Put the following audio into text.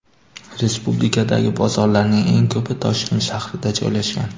Respublikadagi bozorlarning eng ko‘pi Toshkent shahrida joylashgan.